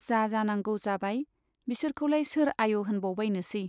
जा जानांगौ जाबाय , बिसोरखौलाय सोर आय' होनबायबायनोसै।